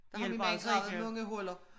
Der har min mand gravet mange huller